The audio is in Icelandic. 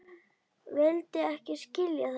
Vildi ekki skilja það.